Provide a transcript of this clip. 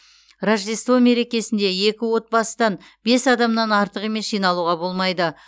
рождество мерекесінде екі отбасыдан бес адамнан артық емес жиналуға болмайды